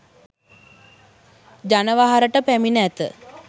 ජනවහරට පැමිණ ඇත